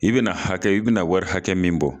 I bɛna hakɛ, i bɛna wari hakɛ min bɔ.